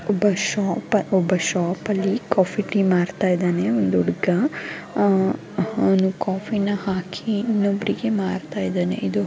ಒಬ್ಬ ಶಾಪರ್ ಒಬ್ಬ ಶಾಪಲ್ಲಿ ಕಾಫಿ ಟೀ ಮಾಡ್ತಾ ಇದ್ದಾನೆ ಒಂದು ಹುಡುಗ ಆಹ್ಹ್ ಅವನು ಕಾಫಿನ ಹಾಕಿ ಇನ್ನೊಬ್ರಿಗೆ ಮಾರ್ತ ಇದಾನೆ ಇದು --